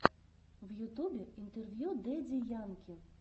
в ютюбе интервью дэдди янки